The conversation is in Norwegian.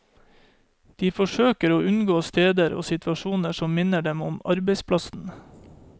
De forsøker å unngå steder og situasjoner som minner dem om arbeidsplassen.